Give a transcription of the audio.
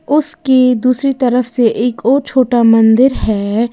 उसकी दूसरी तरफ से एक और छोटा मंदिर है।